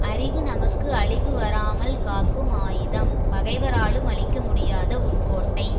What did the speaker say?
அறிவு நமக்கு அழிவு வராமல் காக்கும் ஆயுதம் பகைவராலும் அழிக்க முடியாத உட்கோட்டை